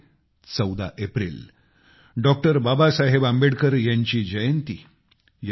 ते आहे 14 April doctor Babasaheb Ambedkar यांची जन्म जयंती